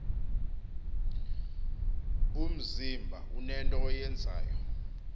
umzimba unento oyenzayo